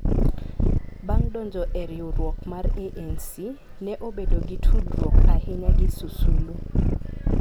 Bang ' donjo e riwruok mar ANC, ne obedo gi tudruok ahinya gi Sisulu,